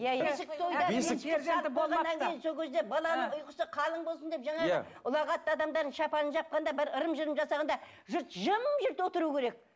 баланың ұйқысы қалың болсын деп жаңағы иә ұлағатты адамдардың шапанын жапқанда бір ырым жырым жасағанда жұрт жым жырт отыру керек